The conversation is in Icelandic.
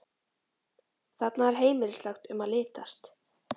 Þarna er heimilislegt um að litast.